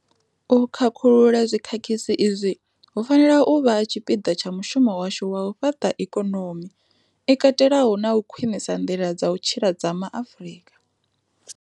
U khakhulula zwi khakhisi izwi hu fanela u vha tshipiḓa tsha mushumo washu wa u fhaṱa ikonomi i katelaho na u khwiṋisa nḓila dza u tshila dza ma Afrika.